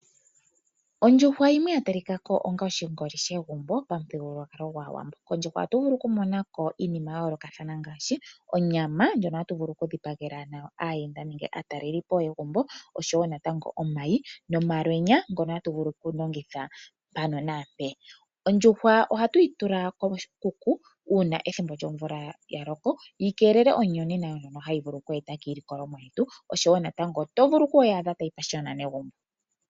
Ondjuhwa yimwe ya talika ko onga oshingoli shegumbo pamuthigululwakalo gwaawambo. Kondjuhwa ohatu vulu oku mona ko iinima ya yoolokathana ngaashi onyama ndjono hatu vulu oku dhipagela nayo aayenda nenge aataleli po yegumbo, oshowo natango omayi nomalwenya ngono hatu vulu oku longitha mpano naampeya. Ondjuhwa ohatu yi tula koshikuku uuna ethimbo lyomvula yaloko yi keelele omuyonena ngono hayi vulu oku eta kiilikolomwa yetu, oshowo natango oto vulu oku yi adha tayi pashiyona negumbo.